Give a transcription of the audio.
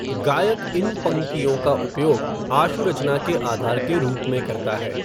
गायक इन पंक्तियों का उपयोग आशु रचना के आधार के रूप में करता है।